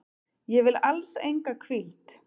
Ég vil alls enga hvíld.